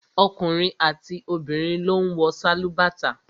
Ọkùnrin àti obìnrin ló ń wọ sálúbàtà